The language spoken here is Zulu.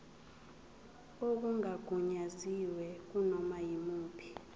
okungagunyaziwe kunoma yimuphi